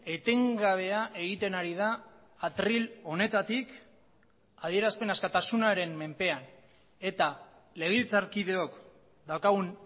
etengabea egiten ari da atril honetatik adierazpen askatasunaren menpean eta legebiltzarkideok daukagun